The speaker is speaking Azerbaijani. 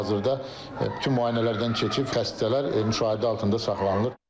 Hal-hazırda bütün müayinələrdən keçib xəstələr müşahidə altında saxlanılır.